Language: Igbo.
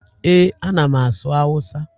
Ee, a na m asụ Hausa